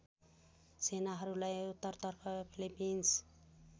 सेनाहरूलाई उत्तरतर्फ फिलिपिन्स